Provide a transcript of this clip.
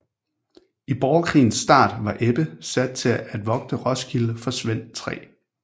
I borgerkrigens start var Ebbe sat til at vogte Roskilde for Svend 3